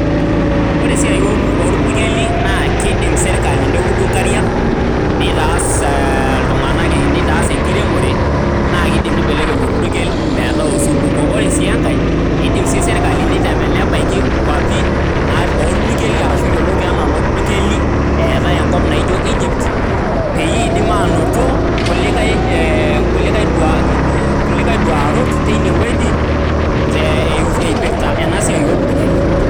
Ore esiai orpukeli naa kedim sirkali neudu nkariak , nitaas iltunganak a , nitaas enkiremore naa keidim nibelekeny orpukel metaa osupuko. Ore sii enkae eidim sii serkali nebaiki naa orpukeli ashu yioloti anaa inoorpukeli eetae enkop naijo Egypt peyie idim anoto kulikae ee kulikae duarot teine wueji te eipirta enasiai orpukeli.